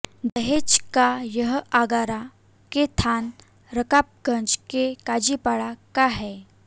दहेज का यह आगरा के थाना रकाबगंज के काजीपाड़ा का है